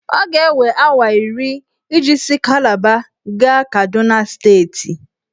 Ọ ga-ewe awa iri iji si Kalaba gaa Kaduna steeti.